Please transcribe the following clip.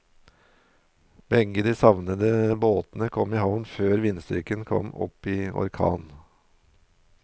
Begge de savnede båtene kom i havn før vindstyrken kom opp i orkan.